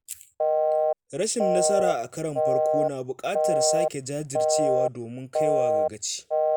Rashin nasara a karon farko na buƙatar sake jajircewa domin kaiwa ga ci.